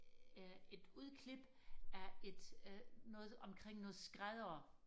øh et udklip af et øh noget omkring noget skræddere